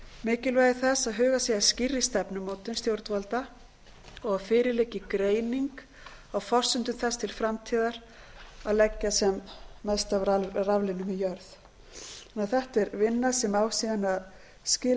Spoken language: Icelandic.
mikilvægi þess að hugað sé að skýrri stefnumótun stjórnvalda og að fyrir liggi greining á forsendum þess til framtíðar að leggja sem mest af raflínum í jörð þetta er vinna sem á síðan að skila